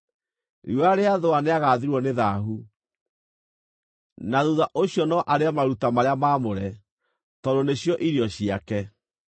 Riũa rĩathũa nĩagathirwo nĩ thaahu, na thuutha ũcio no arĩe maruta marĩa maamũre, tondũ nĩcio irio ciake.